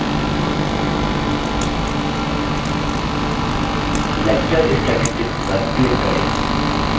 lecture statistics पर click करें training statistics dialog box प्रदर्शित होता है